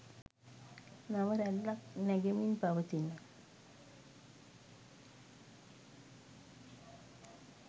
නව රැල්ලක් නැගෙමින් පවතින